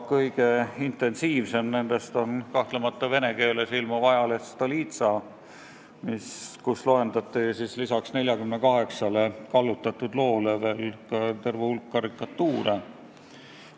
Kõige intensiivsemalt selles mõttes tegutseb kahtlemata vene keeles ilmuv ajaleht Stolitsa, kus loendati lisaks 48 kallutatud loole veel terve hulk karikatuure.